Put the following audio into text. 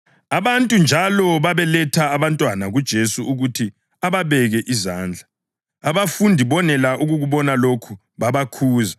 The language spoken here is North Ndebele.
Abantu njalo babeletha abantwana kuJesu ukuthi ababeke izandla. Abafundi bonela ukukubona lokhu babakhuza.